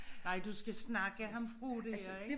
Nej du skal snakke ham fra det